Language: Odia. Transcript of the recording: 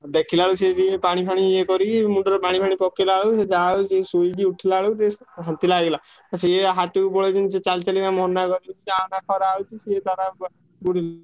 ଦେଖିଲା ବେଳକୁ ସିଏ ଯେମିତି ପାଣି ଫାଣି ଇଏ କରିକି ମୁଣ୍ଡରେ ପାଣି ଫାଣି ପକେଇଲା ବେଳକୁ ସିଏ ଯାହା ହଉ ସିଏ ଶୋଇକି ଉଠିଲା ବେଳକୁ ଶାନ୍ତି ଲାଗିଲା। ସିଏ ହାଟୁକୁ ପଳେଇଛନ୍ତି ସିଏ ଚାଲିଚାଲିକା ମନା କରୁଚୁ ଯାଅନା ଖରା ହଉଛି ସିଏ ତାର